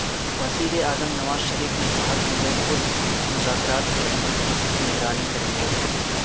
وزیراعظم نواز شریف نے کہا کہ وہ خود مذاکرات کے عمل کی نگرانی کریں گے